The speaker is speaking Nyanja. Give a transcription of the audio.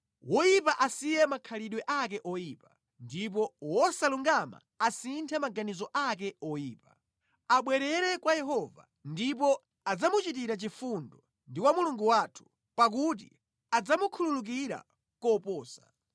Woyipa asiye makhalidwe ake oyipa, ndipo wosalungama asinthe maganizo ake oyipa. Abwerere kwa Yehova, ndipo adzamuchitira chifundo, ndi kwa Mulungu wathu, pakuti adzamukhululukira koposa.